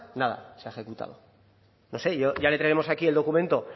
nada se ha ejecutado no sé ya le traeremos aquí el documento